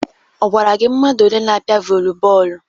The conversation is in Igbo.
Ọ gwara gị mmadụ ole n'apịa vọlị bọọlụ?